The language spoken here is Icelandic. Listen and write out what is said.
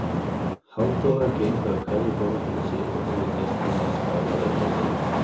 Halldóra gengur að hverju borði fyrir sig og biður gestina að skála við forseta.